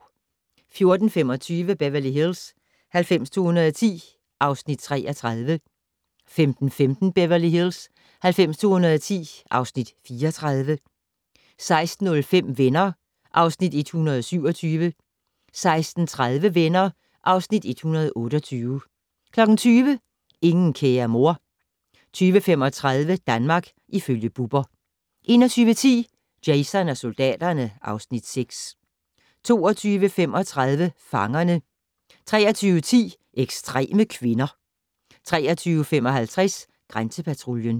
14:25: Beverly Hills 90210 (Afs. 33) 15:15: Beverly Hills 90210 (Afs. 34) 16:05: Venner (Afs. 127) 16:30: Venner (Afs. 128) 20:00: Ingen kære mor 20:35: Danmark ifølge Bubber 21:10: Jason og soldaterne (Afs. 6) 22:35: Fangerne 23:10: Ekstreme kvinder 23:55: Grænsepatruljen